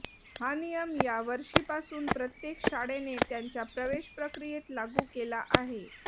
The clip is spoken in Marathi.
हा नियम या वर्षीपासून प्रत्येक शाळेने त्यांच्या प्रवेश प्रक्रियेत लागू केला आहे